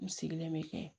N sigilen bɛ